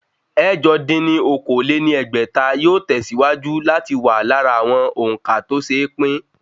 Ẹ̀jọ dín ní okòó-lé-ní-ẹgbẹ́ta yóò tẹ̀síwájú láti wà lára àwọn òǹkà tó se pín